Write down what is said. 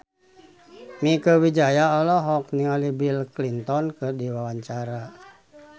Mieke Wijaya olohok ningali Bill Clinton keur diwawancara